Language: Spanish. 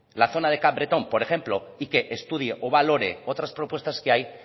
la zona de capbreton por ejemplo y que estudie o que valore otras propuestas que hay